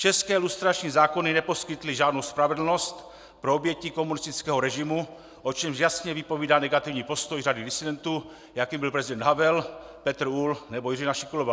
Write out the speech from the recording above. České lustrační zákony neposkytly žádnou spravedlnost pro oběti komunistického režimu, o čemž jasně vypovídá negativní postoj řady disidentů, jakým byl prezident Havel, Petr Uhl nebo Jiřina Šiklová.